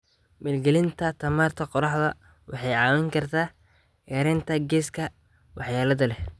Maalgelinta tamarta qoraxda waxay caawin kartaa yareynta gaaska waxyeelada leh.